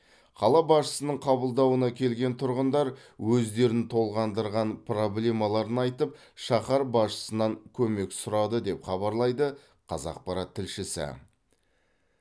қала басшысының қабылдауына келген тұрғындар өздерін толғандырған проблемаларын айтып шаһар басшысынан көмек сұрады деп хабарлайды қазақпарат тілшісі